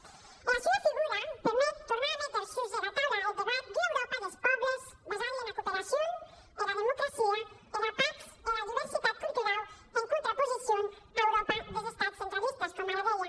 era sua figura permet tornar a méter sus era taula eth debat d’ua euròpa des pòbles basada ena cooperacion era democràcia era patz e era diuersitat culturau en contraposicion ara euròpa des estats centralistes coma ara didie